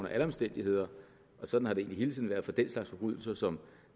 alle omstændigheder og sådan har det egentlig hele tiden været for den slags forbrydelser som